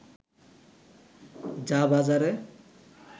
যা বাজারে